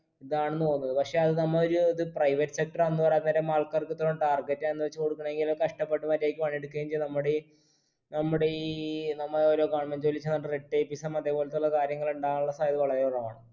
ഇതാണെന്ന് തോന്നുന്നത് പക്ഷെ അത് നമ്മ ഒരു ഇത് private sector ആന്ന് പറയാൻ നേരം ആൾക്കാർക്ക് ഇത്രോം target ആന്ന് വെച്ച് കൊടുക്കണെങ്കിൽ കഷ്ടപ്പെട്ട് മര്യാദക്ക് പണിയെടുക്കേം ചെയ്ത നമ്മുടീ നമ്മുടീ നമ്മ ഓരോ government ജോലി അതെ പോലെത്തുള്ള കാര്യങ്ങൾ ഉണ്ടാവാനുള്ള സാധ്യത വളരെ കുറവാണ്